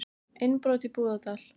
Innbrot í Búðardal